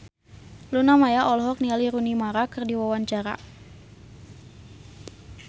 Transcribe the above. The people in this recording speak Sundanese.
Luna Maya olohok ningali Rooney Mara keur diwawancara